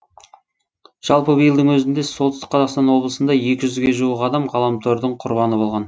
жалпы биылдың өзінде солтүстік қазақстан облысында екі жүзге жуық адам ғаламтордың құрбаны болған